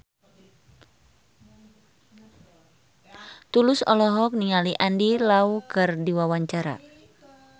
Tulus olohok ningali Andy Lau keur diwawancara